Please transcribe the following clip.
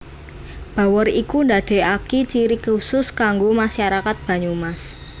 Bawor iku ndadekaki ciri kusus kanggo masyarakat Banyumas